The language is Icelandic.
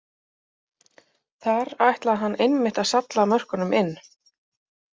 Þar ætlaði hann einmitt að salla mörkunum inn!